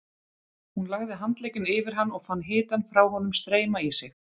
Hún lagði handlegginn yfir hann og fann hitann frá honum streyma í sig.